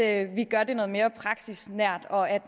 at vi gør det noget mere praksisnært og at